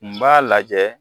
N b'a lajɛ